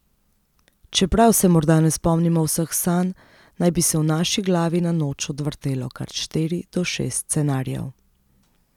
Čeprav se morda ne spomnimo vseh sanj, naj bi se v naši glavi na noč odvrtelo kar štiri do šest scenarijev.